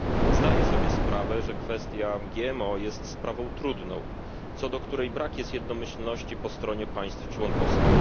Zdaję sobie sprawę, że kwestia GMO jest sprawą trudną, co do której brak jest jednomyślności po stronie państw członkowskich.